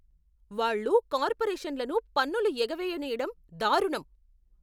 వాళ్ళు కార్పొరేషన్లను పన్నులు ఎగవేయనీయడం దారుణం.